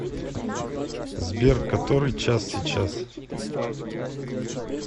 сбер который час сейчас